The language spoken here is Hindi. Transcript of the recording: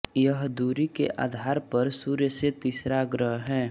यह दूरी के आधार पर सूर्य से तीसरा ग्रह है